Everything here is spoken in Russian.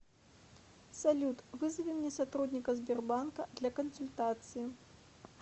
салют вызови мне сотрудника сбербанка для консультации